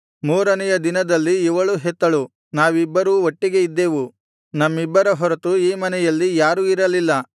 ಮೂರನೆಯ ದಿನದಲ್ಲಿ ಇವಳೂ ಹೆತ್ತಳು ನಾವಿಬ್ಬರೂ ಒಟ್ಟಿಗೆ ಇದ್ದೆವು ನಮ್ಮಿಬ್ಬರ ಹೊರತು ಆ ಮನೆಯಲ್ಲಿ ಯಾರೂ ಇರಲಿಲ್ಲ